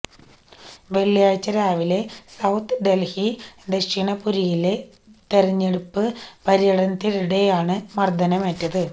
വെള്ളിയാഴ്ച രാവിലെ സൌത്ത് ഡല്ഹി ദക്ഷിന്പുരിയിലെ തെരഞ്ഞെടുപ്പ് പര്യടനത്തിനിടെയാണ് മര്ദ്ദനമേറ്റത്